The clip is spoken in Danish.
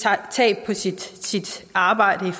tab på sit arbejde i